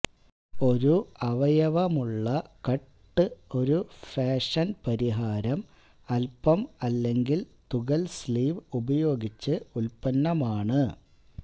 ഒരു അവയവമുള്ള കട്ട് ഒരു ഫാഷൻ പരിഹാരം അൽപം അല്ലെങ്കിൽ തുകൽ സ്ലീവ് ഉപയോഗിച്ച് ഉൽപന്നമാണ്